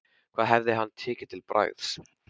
Hvað hefði hann tekið til bragðs?